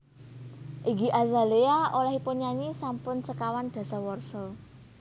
Iggy Azalea olehipun nyanyi sampun sekawan dasawarsa